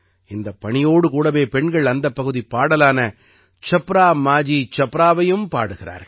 இந்தப் பணியோடு கூடவே பெண்கள் அந்தப் பகுதிப் பாடலான சப்ரா மாஜீ சப்ராவையும் பாடுகிறார்கள்